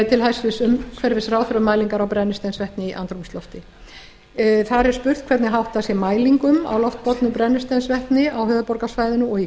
til hæstvirts umhverfisráðherra um mælingar á brennisteinsvetni í andrúmslofti þar er spurt hvernig háttað sé mælingum á loftbornu brennisteinsvetni á höfuðborgarsvæðinu og í